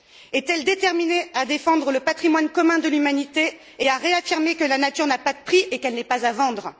Est elle déterminée à défendre le patrimoine commun de l'humanité et à réaffirmer que la nature n'a pas de prix et qu'elle n'est pas à vendre?